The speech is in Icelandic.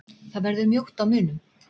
Það verður mjótt á munum